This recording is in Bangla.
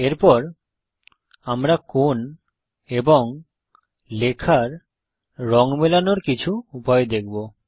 এরপর আমরা কোণ এবং লেখার রঙ মেলানোর কিছু উপায় দেখব